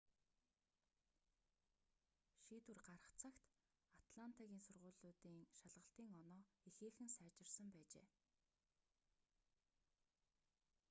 шийдвэр гарах цагт атлантагийн сургуулиудын шалгалтын оноо ихээхэн сайжирсан байжээ